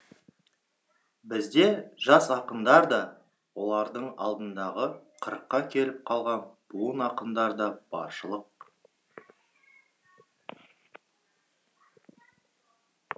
бізде жас ақындар да олардың алдындағы қырыққа келіп қалған буын ақындар да баршылық